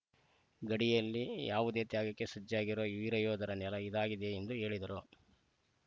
ಗಡಿಯಲ್ಲಿ ಯಾವುದೇ ತ್ಯಾಗಕ್ಕೆ ಸಜ್ಜಾಗಿರುವ ವೀರಯೋಧರ ನೆಲ ಇದಾಗಿದೆ ಎಂದು ಹೇಳಿದರು